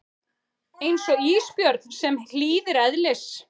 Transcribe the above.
Eins og ísbjörn sem hlýðir eðlis